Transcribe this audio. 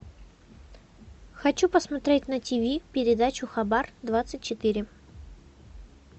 хочу посмотреть на тв передачу хабар двадцать четыре